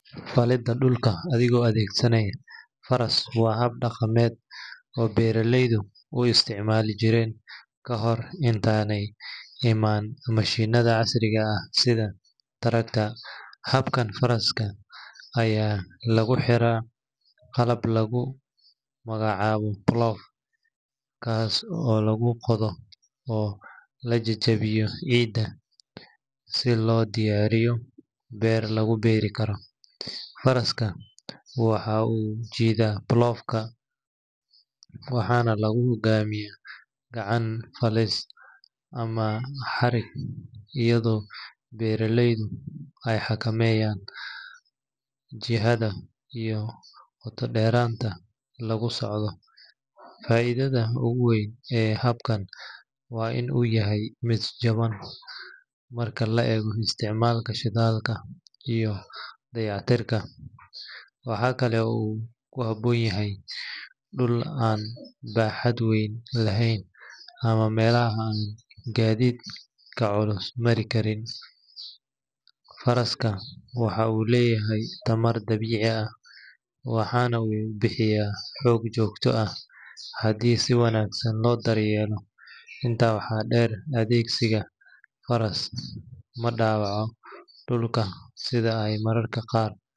Falidda dhulka adigoo adeegsanaya faras waa hab dhaqameed oo beeraleydu u isticmaali jireen ka hor intaanay imaan mishiinnada casriga ah sida tractor. Habkan, faras ayaa lagu xiraa qalab lagu magacaabo plough, kaas oo lagu qodo oo la jajabiyo ciidda si loo diyaariyo beer lagu beeri karo. Faraska waxa uu jiidaa plough ga, waxaana lagu hoggaamiyaa gacan-falis ama xarig iyadoo beeraleydu ay xakameynayaan jihada iyo qoto-dheeraanta lagu socdo. Faa’iidada ugu weyn ee habkan waa in uu yahay mid jaban marka la eego isticmaalka shidaalka iyo dayactirka. Waxa kale oo uu ku habboon yahay dhul aan baaxad weyn lahayn ama meelaha aan gaadiidka culus mari karin. Faraska waxa uu leeyahay tamar dabiici ah, waxaana uu bixiyaa xoog joogto ah haddii si wanaagsan loo daryeelo. Intaa waxaa dheer, adeegsiga faras ma dhaawaco dhulka sida ay mararka qaar.